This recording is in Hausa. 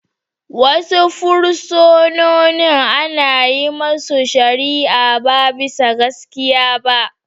Wasu fursunonin ana yin masu shari'a ba bisa gaskiya ba.